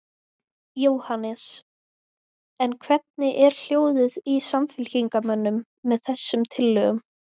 Jóhannes: En hvernig er hljóðið í samfylkingarmönnum með þessum tillögum?